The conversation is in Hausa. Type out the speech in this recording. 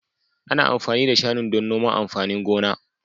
Ana amfani da shanun don noman amfanin gona.